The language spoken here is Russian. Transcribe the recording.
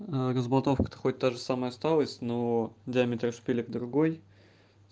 разболтовка то хоть та же самая осталась но диаметр шпилек другой